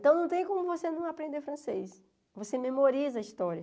Então não tem como você não aprender francês, você memoriza a história.